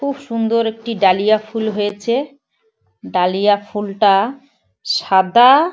খুব সুন্দর একটি ডালিয়া ফুল হয়েছে ডালিয়া ফুলটা সাদা--